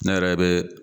Ne yɛrɛ bɛ